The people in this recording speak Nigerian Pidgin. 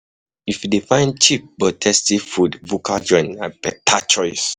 If you dey find cheap but tasty food, bukka joints na better choice.